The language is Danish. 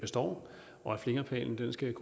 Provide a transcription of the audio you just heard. skal